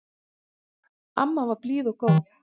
Amma var blíð og góð.